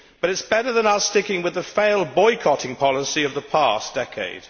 But it is better than our sticking with the failed boycotting policy of the past decade.